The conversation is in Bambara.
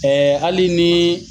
Ɛɛ hali ni